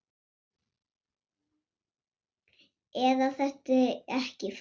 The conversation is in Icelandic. Eð þetta ekki flott?